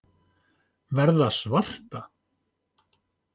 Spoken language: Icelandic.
Verða svarta.